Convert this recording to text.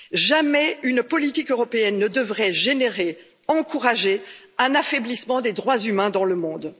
Jamais une politique européenne ne devrait générer, encourager un affaiblissement des droits humains dans le monde.